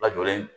Lajɔlen